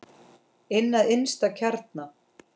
Inn að innsta kjarna.